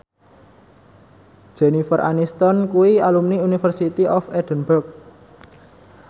Jennifer Aniston kuwi alumni University of Edinburgh